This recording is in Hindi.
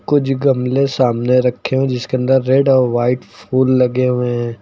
कुछ गमले सामने रखे हैं जिसके अंदर रेड और व्हाइट फूल लगे हुए हैं।